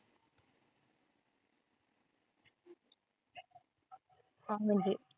हा म्हणजे